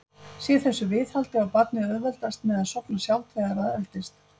Sé þessu viðhaldið á barnið auðveldara með að sofna sjálft þegar það eldist.